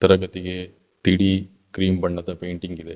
ತರಗತಿಗೆ ತಿಳಿ ಕ್ರೀಮ್ ಬಣ್ಣದ ಪೇಂಟಿಂಗ್ ಇದೆ.